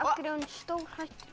hverju er hún stórhættuleg